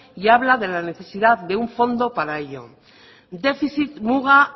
y habla de la necesidad de un fondo para ello defizit muga